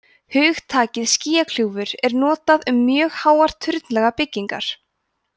hugtakið skýjakljúfur er notað um mjög háar turnlaga byggingar